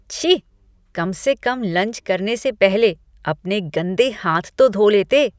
छी! कम से कम लंच करने से पहले अपने गंदे हाथ तो धो लेते।